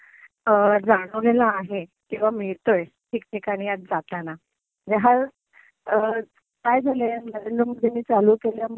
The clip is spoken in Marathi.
जाणवलेला आहे किंवा मीळतोय ठिकठिकाणी आज जाताना. म्हणजे आज काय झालंय नरेंद्र मोदींनी चालू केल्यामुळे,